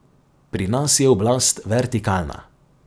Pri nas je oblast vertikalna.